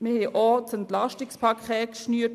Wir haben vor Kurzem ein Entlastungspaket geschnürt.